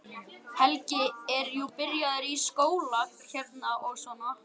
Helgi er jú byrjaður í skóla hérna og svona.